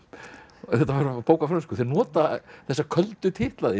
þetta var bók á frönsku þeir nota þessa köldu titla þína